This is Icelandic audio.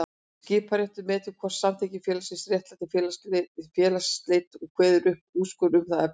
Skiptaréttur metur hvort samþykktir félagsins réttlæti félagsslit og kveður upp úrskurð um það efni.